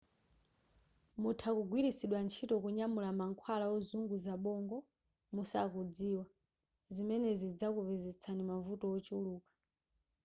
mutha kugwiritsidwa ntchito kunyamula mankhwala ozunguza bongo musakudziwa zimenezi zizakupezetsani mavuto ochuluka